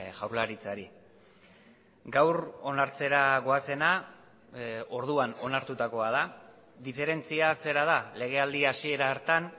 jaurlaritzari gaur onartzera goazena orduan onartutakoa da diferentzia zera da legealdi hasiera hartan